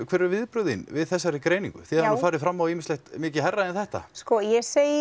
hver eru viðbrögð þín við þessari greiningu þið hafið nú farið fram á ýmislegt mikið hærra en þetta sko ég segi